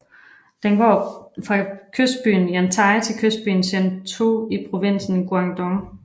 Den går fra kystbyen Yantai til kystbyen Shantou i provinsen Guangdong